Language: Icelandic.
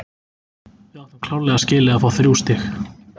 Við áttum klárlega skilið að fá þrjú stig.